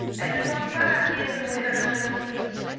Elles ne doivent pas varier selon les appartenances politiques.